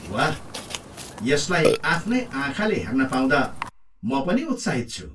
वाह! यसलाई आफ्नै आँखाले हेर्न पाउँदा म पनि उत्साहित छु।